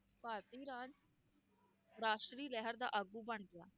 ਭਾਰਤੀ ਰਾਜ ਰਾਸ਼ਟਰੀ ਲਹਿਰ ਦਾ ਆਗੂ ਬਣ ਗਿਆ